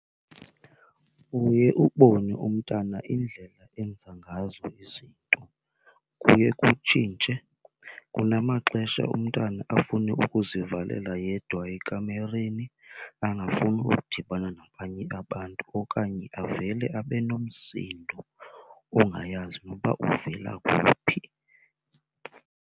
Uye ubone umntana indlela enza ngazo izinto kuye kutshintshe. Kunamaxesha umntana afune ukuzivalela yedwa ekamireni angafuni ukudibana nabanye abantu okanye avele abe nomsindo ongayazi noba uvela kuphi.